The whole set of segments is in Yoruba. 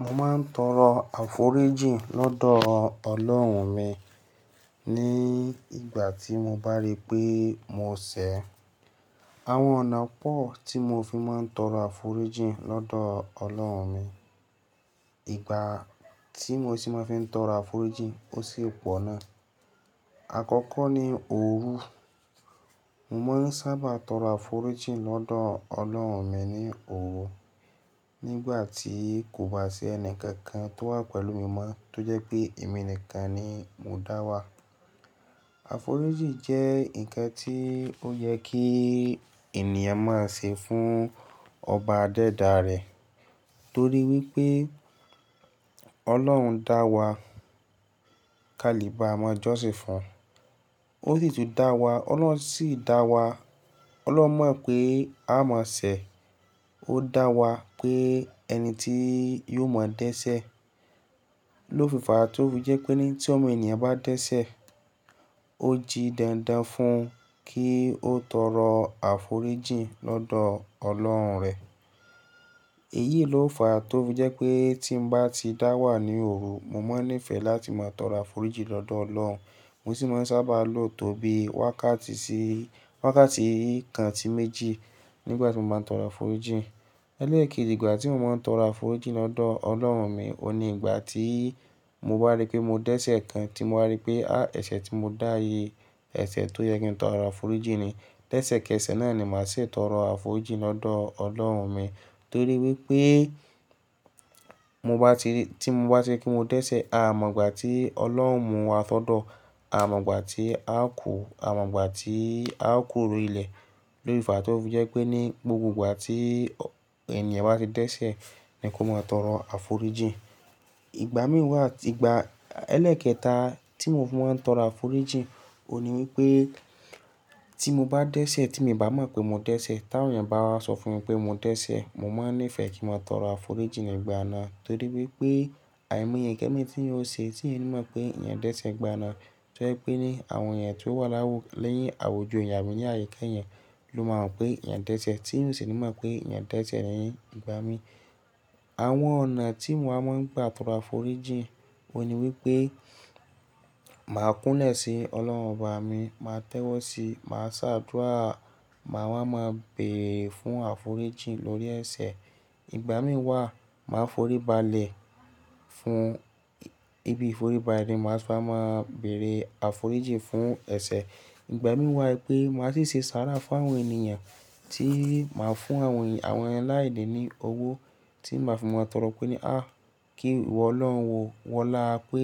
Mo máa ń tọrọ àforíjìn lọ́dọ̀ Ọlọ́run mi ní ìgbà tí mo bá rí pé mo ṣẹ̀. Àwọn ọ̀nà pọ̀ tí mo fi máa ń tọrọ àforíjìn lọ́dọ̀ Ọlọ́run mi. Ìgbà tí mo sì máa fi ń tọrọ àforíjìn ó sì pọ̀ náà. Àkọ́kọ́ ni òru. Mo máa ń sábà tọrọ àforíjìn lọ́dọ̀ Ọlọ́run mi ní òru. Nígbà tí kò bá sí ẹnì kankan tó wà pẹ̀lú mi mọ́ tó jẹ́ pé èmi nìkan ni mo dá wà. Àforíjìn jẹ́ ǹkan tí ó yẹ kí ènìyàn máa ṣe fún ọba adẹ́dà rẹ̀ torí wípé Ọlọ́run dá wa ká lè bá ọmọ Jósin fùn. Ó sì tún dá wa, Ọlọ́run sì dá wa. Ọlọ́run mọ̀ pé a má ṣẹ̀. Ó dá wa pé ẹni tí yóò mọ́ dẹ́ṣẹ̀. Lófí fàá tó fi jẹ́ pé ní tí ọmọ ènìyàn bá dẹ́ṣẹ̀, ó jí dandan fún un kí ó tọrọ àforíjìn lọ́dọ̀ Ọlọ́run rẹ̀. Èyí ló fà á tó fi jẹ́ pé tí mo bá ti dá wà ní òru, mo máa ń nífẹ̀ẹ́ láti máa tọrọ àforíjìn lọ́dọ̀ Ọlọ́run. Mo sì máa ń sábà lo tóbi wákàtí sí, wákàtí kan sí méjì nígbà tí mo máa ń tọrọ àforíjìn. Elékèèjí ìgbà tí mo máa ń tọrọ àforíjìn lọ́dọ̀ Ọlọ́run mi, òun ni ìgbà tí mo bá rí pé mo dẹ́ṣẹ̀ kan, tí mo bá rí pé, "Á, ẹ̀ṣẹ̀ tí mo dá yi, ẹ̀ṣẹ̀ tó yẹ kí n tọrọ àforíjìn ni." lẹ́ṣẹ̀ kẹsẹ̀ náà ni màá ṣe tọrọ àforíjìn lọ́dọ̀ Ọlọ́run mi torí wípé mo bá ti, tí mo bá ti ri pe mó dẹ́ṣẹ̀, a mọ̀ gbà tí Ọlọ́run mú wa sọ́dọ̀, a mọ̀ gbà tí a kù, a mọ̀ gbà tí a kúrò lori ilẹ̀. Lófí fàá tó fi jẹ́ pé ní gbogbo ìgbà tí ènìyàn bá ti dẹ́ṣẹ̀ ni kó máa tọrọ àforíjìn. Ìgbà mí wà, ìgbà ẹlẹ́kẹta tí mo máa ń tọrọ àforíjìn òun ni wípé tí mo bá dẹ́ṣẹ̀ tí mi o bá mọ̀ pé mo dẹ́ṣẹ̀, tí àwọn ènìyàn bá wá sọ fún mi pé mo dẹ́ṣẹ̀, mo máa nífẹ̀ẹ́ kí n máa tọrọ àforíjìn ní ìgbà náà torí wípé àìmọye ǹkan mi tí n ó ṣe tí èmi mọ̀ pé ìyẹn dẹ́ṣẹ̀ gbà náà tó yé pé ní àwọn ènìyàn tí ó wà láwù ni àwùjọ ènìyàn mi ní àyíká ẹ̀yan ló máa mọ̀ pé eyàn dẹ́ṣẹ̀ tí eyan o sì ní mọ̀ pé eyan dẹ́ṣẹ̀. Ìgbà mí, àwọn ọ̀nà tí mo máa ń gbà tọrọ àforíjìn òun ni wípé màá kúnlẹ̀ sí Ọlọ́run ọba mi, màá tẹ́wọ́ sí, màá ṣàdúà, màá wá, màá béèrè fún àforíjìn lórí ẹ̀ṣẹ̀. Ìgbà mí wà, màá forí balẹ̀ fún, ibi ìforíbalẹ̀ ni màá sì máa béèrè àforíjìn fún ẹ̀ṣẹ̀. Ìgbà mí wà pé màá sì ṣe sára fún àwọn ènìyàn tí màá fún àwọn alaini ní owó tí màá fi máa tọrọ pé ní, "Á, kí ìwọ Ọlọ́run wo wọlá pé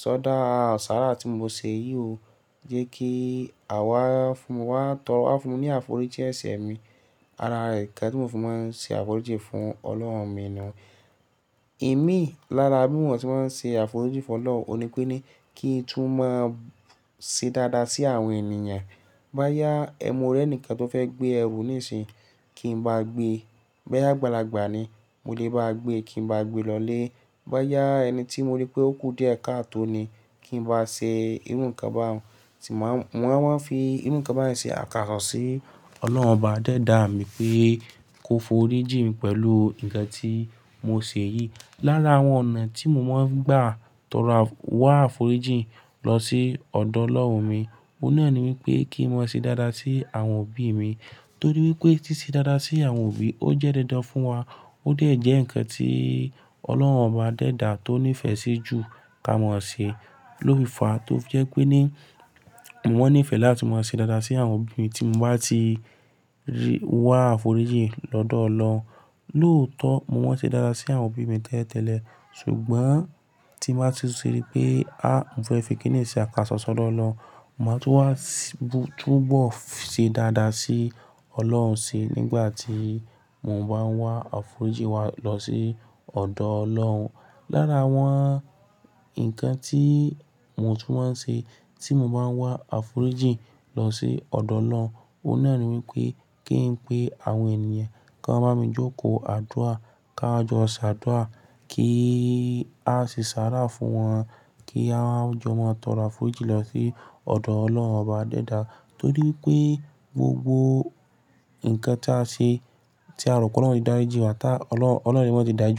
sọ dá àwọn sára tí mo ṣe yìí ó jẹ́ kí àwa fún wa tọrọ, wá fún mi ní àforíjì ẹ̀ṣẹ̀ mi." Ara ǹkan tí mò fi máa ń ṣe àforíjìn fún Ọlọ́run mi náà. Èmi lára bí mi mò tí màá ń ṣe àforíjìn fún Ọlọ́run òun ni pé ní kí n tún máa ṣe dáadáa sí àwọn ènìyàn. Bá yá mo rẹ́ nìkan tó fẹ́ gbé ẹrù níìsín, kí n bá gbé. Bá yá agbàlàgbà ni, mo lè bá gbé, kí n bá gbé lọlé. Bá yá ẹni tí mo rí pé ó kú dé ẹ̀ka tó ni, kí n bá ṣe irú ǹkan bá òun. Sì máa, wọ́n á máa fi irú ǹkan bá yẹn ṣe àkàsọ̀ sí Ọlọ́run ọba dẹ́dà mi pé kó foríjìn pẹ̀lú ǹkan tí mo ṣe yìí. Lára àwọn ọ̀nà tí mo máa ń gbà tọrọ wá àforíjìn lọ sí ọ̀dọ̀ Ọlọ́run mi, òun náà ni wípé kí n máa ṣe dáadáa sí àwọn òbí mi torí wípé si ṣe dáadáa sí àwọn òbí, ó jẹ́ dandan fún wa, ó dẹ̀ jẹ́ ǹkan tí Ọlọ́run ọba dẹ́dà tó nífẹ̀ẹ́ sí jù ká mọ̀ ṣe. Lófí fàá tó fi jẹ́ pé ní mo máa ń nífẹ̀ẹ́ láti máa ṣe dáadáa sí àwọn òbí mi tí mo bá ti rí, wá àforíjìn lọ́dọ̀ Ọlọ́run. Lóòótọ́ mo máa ń ṣe dáadáa sí àwọn òbí mi tẹ́lẹ̀tẹ́lẹ̀. Ṣùgbọ́n tí bàá tu ti rí pé, "Á, mo fẹ́ fi kíni ṣe àkàsọ̀ sọ́dọ̀ Ọlọ́run." Mo máa tún wá, tún bọ̀ ṣe dáadáa sí Ọlọ́run ṣi nígbà tí mò ń bá ń wá àforíjìn wa lọ sí ọ̀dọ̀ Ọlọ́run. Lára àwọn ǹkan tí mo tún máa ń ṣe tí mo bá ń wá àforíjìn lọ sí ọ̀dọ̀ Ọlọ́run, òun náà ni wípé kí n pé àwọn ènìyàn kí wọ́n bá mi jókòó àdúà, ká jọ ṣàdúà, kí a ṣe sára fún wọn, kí a jọ máa tọrọ àforíjìn lọ sí ọ̀dọ̀ Ọlọ́run ọba dẹ́dà torí wípé gbogbo ǹkan tí a ṣe tí a rò pé Ọlọ́run ti dá jẹ wá tá Ọlọ́run, Ọlọ́run le mai ti dárijin wá.